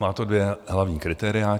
Má to dvě hlavní kritéria.